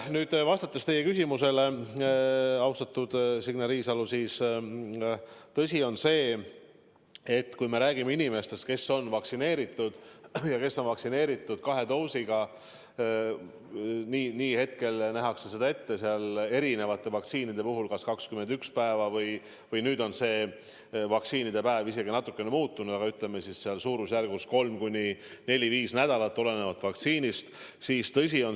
Nüüd, vastates teie küsimusele, austatud Signe Riisalo, ma ütlen, et tõsi, kui me räägime inimestest, kes on vaktsineeritud ja kes on vaktsineeritud kahe doosiga, nagu ette on nähtud, siis erinevate vaktsiinide puhul läheb aega kas 21 päeva või on see päevade arv nüüd natukene muutunud, aga, ütleme, suurusjärgus kolm kuni neli-viis nädalat.